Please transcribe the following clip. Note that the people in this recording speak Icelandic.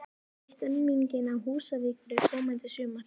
Hvernig er stemmingin á Húsavík fyrir komandi sumar?